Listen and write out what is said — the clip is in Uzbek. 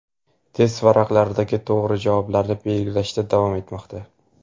test varaqalaridagi to‘g‘ri javoblarni belgilashda davom etmoqda.